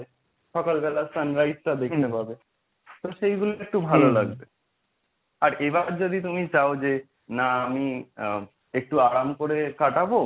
সকালবেলা sunrise টা দেখতে পাবে তো সেইগুলো একটু ভালো লাগবে এবার যদি তুমি চাও যে না আমি আ একটু আরাম করে কাটাবো,